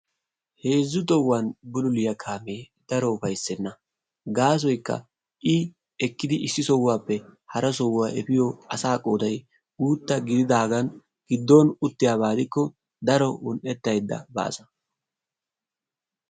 Heezzu tohuwan bululliya kaamee daro ufaysenna; ha naatikka maayido maayuwa meray zo"onne karettanne adil"e mera. ha maayoykka eti wolaytta gidiyoogaa wolayttatettaa heeri baasa.